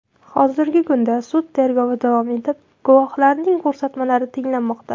Hozirgi kunda sud tergovi davom etib, guvohlarning ko‘rsatmalari tinglanmoqda.